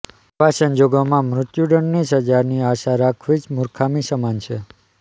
આવા સંજોગોમાં મૃત્યુદંડની સજાની આશા રાખવી જ મુર્ખામી સમાન છે